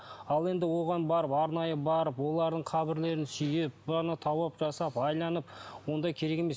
ал енді оған барып арнайы барып олардың қабірлерін сүйіп жасап айналып ондай керек емес